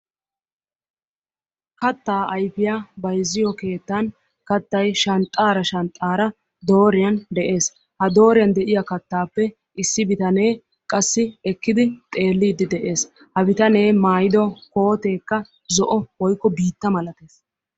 Kattaa ayfiya bayzziyo keettan kattay shanxxaara shanxxaara dooriyan de'ees. Ha dooriyan de'iya kattaappe issi bitanee qassi ekkidi xeelliidfi de'ees. Ha bitanee maayido kooteekka zolo woykko biitta malatees.